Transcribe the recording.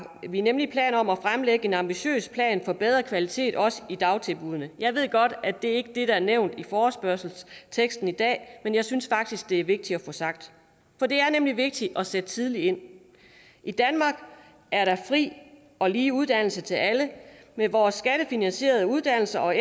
vi nemlig planer om at fremlægge en ambitiøs plan for bedre kvalitet også i dagtilbuddene jeg ved godt at det ikke er det der er nævnt i forespørgselsteksten i dag men jeg synes faktisk at det er vigtigt at få sagt for det er nemlig vigtigt at sætte tidligt ind i danmark er der fri og lige uddannelse til alle med vores skattefinansierede uddannelser og